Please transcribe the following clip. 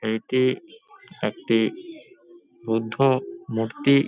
এইটি একটি বুদ্ধ মূর্তি।